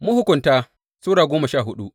Mahukunta Sura goma sha hudu